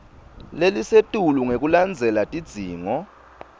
lelisetulu ngekulandzela tidzingo